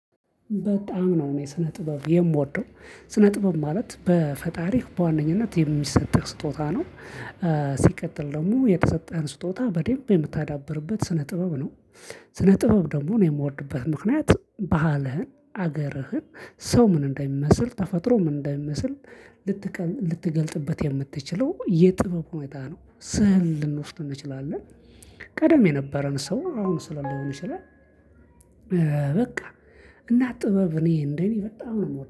በጣም ነው እኔ ስነ ጥበብ የምወደው ስነ ጥበብ ማለት በፈጣሪ በዋነኝነት የሚሰጥህ ስጦታ ነው። ሲቀጥል ደግሞ የተሰጠህን ስጦታ በደንብ የምታዳብርበት ስነ ጥበብ ነው። ስነ ጥበብ ደግሞ እኔ የምወድበት ምክንያት ባህልህን አገርህን ሰው ምን እንደሚመስል ተፈጥሮ ምን እንደሚመስል ልትገልጥበት የምትችለው የጥበብ ሁኔታ ነው ስዕል ልንወስድ እንችላለን ቀደም የነበረን ሰው አሁን ስላለው ይችላል። በቃ እና ጥበብ እኔ እንደኔ በጣም ነው